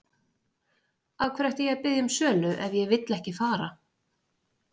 Af hverju ætti ég að biðja um sölu ef ég vill ekki fara?